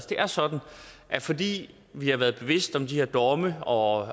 det er sådan at fordi vi har været bevidst om de her domme og